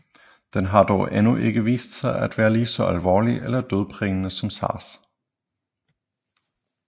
Den har dog endnu ikke vist sig at være lige så alvorlig eller dødbringende som SARS